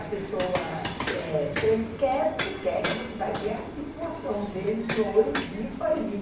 A pessoa, eh, chega ali, quer porque quer que você vai ver a situação deles no olho vivo ali.